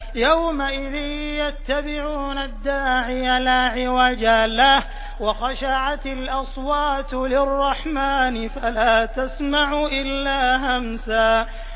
يَوْمَئِذٍ يَتَّبِعُونَ الدَّاعِيَ لَا عِوَجَ لَهُ ۖ وَخَشَعَتِ الْأَصْوَاتُ لِلرَّحْمَٰنِ فَلَا تَسْمَعُ إِلَّا هَمْسًا